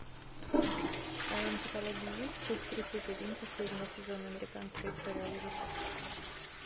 в твоем каталоге есть часть тридцать один последнего сезона американская история ужасов